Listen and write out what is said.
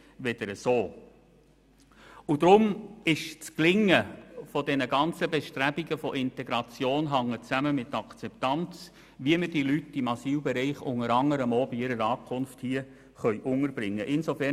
Deshalb hängt das Gelingen dieser Bestrebungen nach Integration mit der Akzeptanz zusammen, wie wir die Leute im Asylbereich unter anderem auch bei ihrer Ankunft hier unterbringen können.